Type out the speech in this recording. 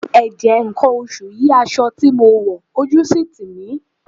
Ẹ̀jẹ̀ nǹkan oṣù yí aṣọ tí mo wọ̀ ojú sì ń tì mí.